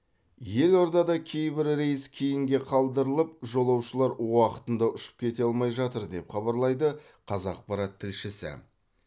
елордада кейбір рейс кейінге қалдырылып жолаушылар уақытында ұшып кете алмай жатыр деп хабарлайды қазақпарат тілшісі